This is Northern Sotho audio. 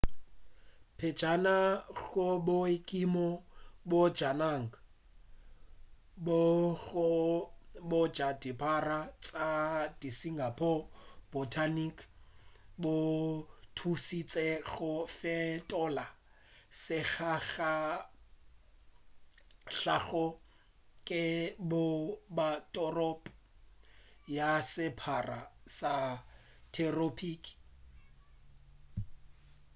pejana go boikemo bja naga bokgoni bja dirapa tša singapore botanic bo thušitše go fetola sehlakahlake go ba toropo ya serapa sa theropiki